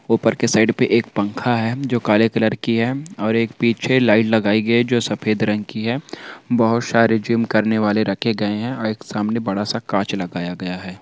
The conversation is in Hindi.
ऊपर के साइड पे एक पंखा है जो काले कलर की है और एक पीछे लाइट लगाई गयी है जो सफेद रंग की है बहुत सारे जिम करने वाले रखे गए है और एक सामने बड़ा सा कांच लगाया गया हैं।